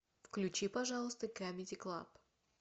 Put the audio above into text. включи пожалуйста камеди клаб